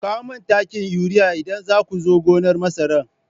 Ku kawo mani takin urea idan za ku zo gonar masara!